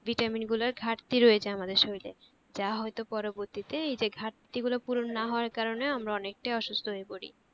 vitamin গুলার ঘার্তি রয়েছে আমাদের শরীরে যা হয়তো পবর্তীতে এই যে ঘার্তি গুলো পূরণ না হওয়ার কারণে আমরা অনেক টা অসুস্থ হয়ে পড়ি